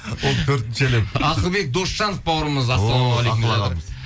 ол төртінші әлем ақылбек досжанов бауырымыз